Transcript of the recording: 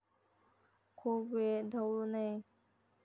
खूप वेळ ढवळू नये.